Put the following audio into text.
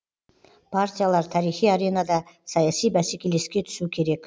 партиялар тарихи аренада саяси бәсекелеске түсу керек